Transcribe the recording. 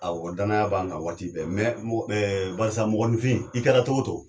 Awɔ danaya b'an kan waati bɛɛ. ɛɛ mɔgɔninfin i kɛra cogo cogo